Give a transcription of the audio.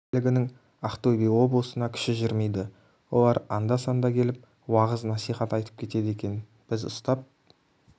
куәлігінің ақтөбе облысына күші жүрмейді олар анда-санда келіп уағыз насихат айтып кетеді екен біз ұстап